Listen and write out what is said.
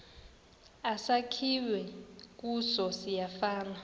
esakhiwe kuso siyafana